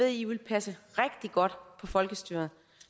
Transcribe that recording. i vil passe rigtig godt på folkestyret